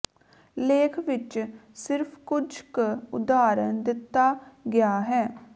ਲੇਖ ਵਿਚ ਸਿਰਫ ਕੁਝ ਕੁ ਉਦਾਹਰਣ ਦਿੱਤਾ ਗਿਆ ਹੈ